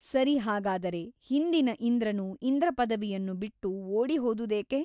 ಸರಿ ಹಾಗಾದರೆ ಹಿಂದಿನ ಇಂದ್ರನು ಇಂದ್ರಪದವಿಯನ್ನು ಬಿಟ್ಟು ಓಡಿ ಹೋದುದೇಕೆ ?